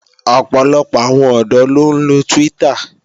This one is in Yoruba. Ọ̀pọ̀lọpọ̀ àwọn ọ̀dọ́ ló ń lo Twitter